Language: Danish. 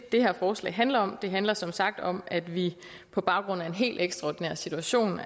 det her forslag handler om det handler som sagt om at vi på baggrund af en helt ekstraordinær situation